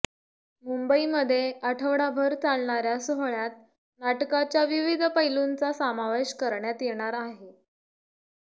मुंबईमध्ये आठवडाभर चालणाऱ्या सोहळ्यात नाटकाच्या विविध पैलूंचा समावेश करण्यात येणार आहे